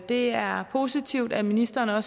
det er positivt at ministeren har